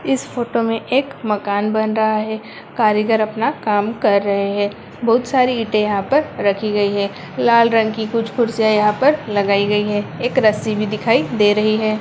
इस फोटो में एक मकान बन रहा है| कारीगर अपना काम कर रहे हैं| बहोत सारी ईंटे यहाँ पर रखी गई है लाल रंग की कुछ कुर्सियां यहाँ पर लगाई गई है एक रस्सी भी दिखाई दे रही है।